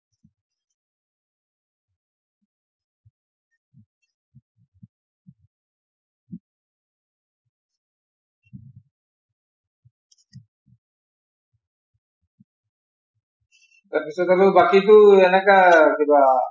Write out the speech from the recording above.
তাৰ পিছত আৰু বাকী টো এনেকাই কিবা